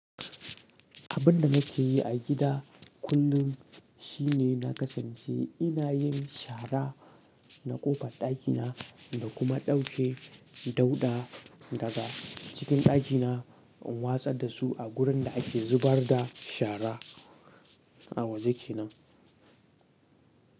Abin da nake yi a gida kullum shine na kasance ina yin shara na kofar dakina da kuma dauke dauɗa daga cikin dakina in watsa da su a wurin da ake zubar da shara a waje kenan.